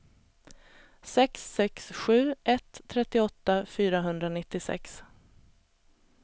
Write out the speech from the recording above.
sex sex sju ett trettioåtta fyrahundranittiosex